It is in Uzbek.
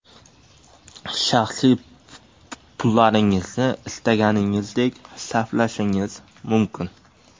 Shaxsiy pullaringizni istaganingizdek sarflashingiz mumkin.